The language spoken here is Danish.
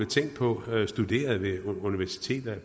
tænkt på eu studerede ved universiteterne